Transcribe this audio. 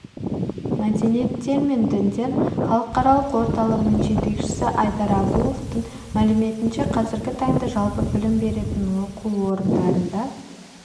мәдениеттер мен діндер халықаралық орталығының жетекшісі айдар абуовтың мәліметінше қазіргі таңда жалпы білім беретін оқу орындарында